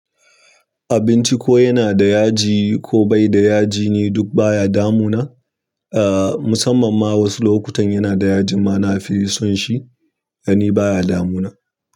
Abinci ko yana da yaji ko bai da yaji ni duk baya damuna, eh musamman ma wasu lokutan yana da yajin ma na fi son shi dan ni baya damuna.